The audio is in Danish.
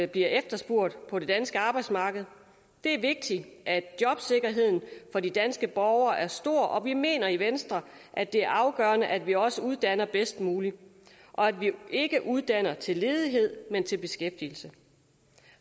bliver efterspurgt på det danske arbejdsmarked det er vigtigt at jobsikkerheden for de danske borgere er stor og vi mener i venstre at det er afgørende at vi også uddanner bedst muligt og at vi ikke uddanner til ledighed men til beskæftigelse